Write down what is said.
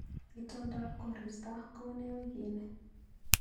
Itondap koristo koune wiikini